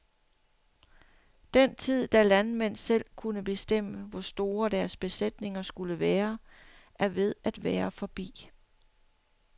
Den tid, da landmænd selv kunne bestemme, hvor store deres besætninger skulle være, er ved at være forbi.